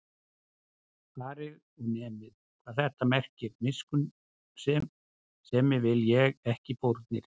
Farið og nemið, hvað þetta merkir: Miskunnsemi vil ég, ekki fórnir